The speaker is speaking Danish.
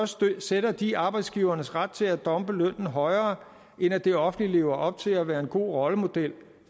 stykket sætter de arbejdsgivernes ret til at dumpe lønnen højere end at det offentlige lever op til at være en god rollemodel